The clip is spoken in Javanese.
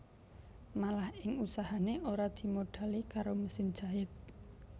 Malah ing usahané ora dimodhali karo mesin jait